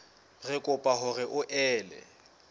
re kopa hore o ele